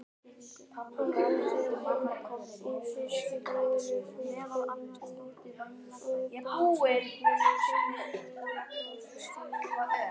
Hann rétti afa í fiskbúðinni forkunnarfagurt tóbakshorn með silfurbryddingum og brosti stríðnislega.